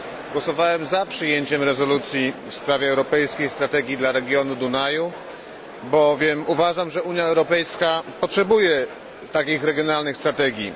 Głosowałem za przyjęciem rezolucji w sprawie europejskiej strategii dla regionu Dunaju, bowiem uważam, że Unia Europejska potrzebuje takich regionalnych strategii.